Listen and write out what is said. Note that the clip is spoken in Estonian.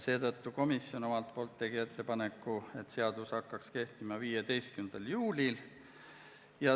Seetõttu tegi komisjon ettepaneku, et seadus hakkaks kehtima 15. juulil.